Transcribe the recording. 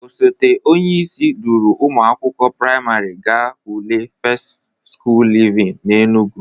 Osote onyeisi duru ụmụ akwụkwọ prịmarị ga ule fest skul livin n'Enugwu.